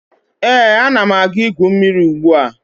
Ee, ana m aga igwu mmiri ugbua